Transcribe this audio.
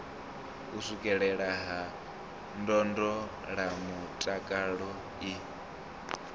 u swikelelea ha ndondolamutakalo i